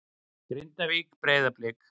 Grindavík- Breiðablik